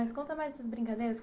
Mas conta mais essas brincadeiras.